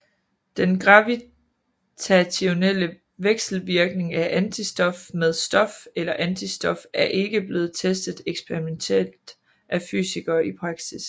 Den gravitationelle vekselvirkning af antistof med stof eller antistof er ikke blevet testet eksperimentielt af fysikere i praksis